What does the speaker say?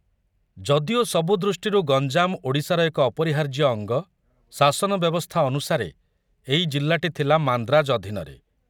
ଯଦିଓ ସବୁ ଦୃଷ୍ଟିରୁ ଗଞ୍ଜାମ ଓଡ଼ିଶାର ଏକ ଅପରିହାର୍ଯ୍ୟ ଅଙ୍ଗ, ଶାସନ ବ୍ୟବସ୍ଥା ଅନୁସାରେ ଏଇ ଜିଲ୍ଲାଟି ଥିଲା ମାନ୍ଦ୍ରାଜ ଅଧୀନରେ।